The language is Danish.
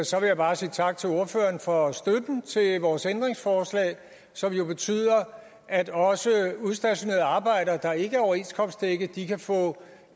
så vil jeg bare sige tak til ordføreren for støtten til vores ændringsforslag som jo betyder at også udstationerede arbejdere der ikke er overenskomstdækket kan få